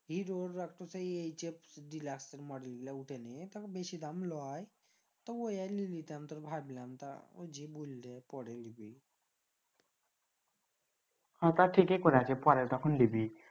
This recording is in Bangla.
hero একটু সেই deluxemodel গিলা বেশি দাম লয় তো ওই আর লি লিতাম তো ভাবলাম বললে পরে লিবি হ তা ঠিকেই করেছি পরে তখন লিবি